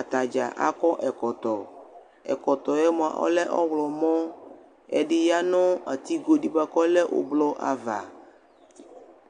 atadza akɔ ɛkɔtɔ, ɛkɔtɔɛ mʋa ɔlɛ ɔɣlɔmɔ Ɛdɩ ya nʋ atigodɩ bʋa k'ɔlɛ ʋblʋ ava